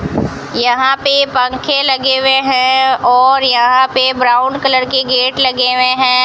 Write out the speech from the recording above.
यहां पे पंखे लगे हुए हैं और यहां पे ब्राउन कलर के गेट लगे हुए हैं।